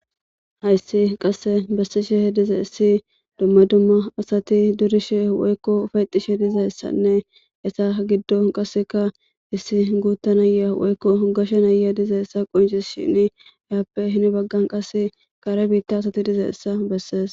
Hayis qase besishe de7izayis duma duma asat durishe woyiko yexishe dizayisane iza gidon qase issi guuta naya woyiko gashe naya dizayisa qoncisishin yape heni bagan qase kare bita assi dizayisa beses.